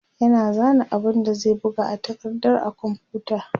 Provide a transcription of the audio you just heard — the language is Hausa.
yana zana abun da zai buga a takardar a komfuta